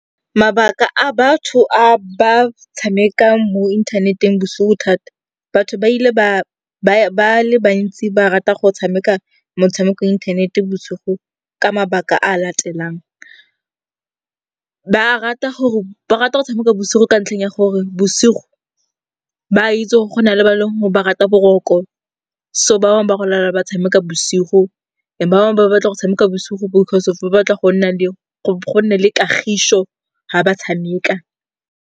Mabaka a batho a ba tshamekang mo inthaneteng bosigo thata, batho ba le bantsi ba rata go tshameka motshameko wa inthanete bosigo ka mabaka a latelang. Ba rata go tshameka bosigo ka ntlheng ya gore bosigo, ba itse gore go na le ba e leng gore ba rata boroko so ba bangwe ba go lala ba tshameka bosigo. And ba bangwe ba batla go tshameka bosigo because of ba batla go nne le kagišo ga ba tshameka.